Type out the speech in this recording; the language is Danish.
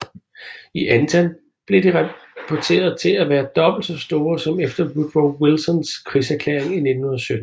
I antal blev de rapporteret til at være dobbelt så store som efter Woodrow Wilsons krigserklæring i 1917